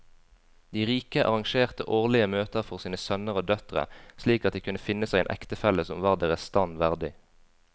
De rike arrangerte årlige møter for sine sønner og døtre slik at de kunne finne seg en ektefelle som var deres stand verdig.